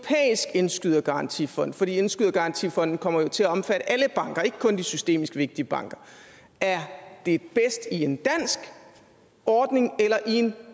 indskydergarantifond for indskydergarantifonden kommer jo til at omfatte alle banker ikke kun de systemisk vigtige banker er det bedst i en dansk ordning eller i en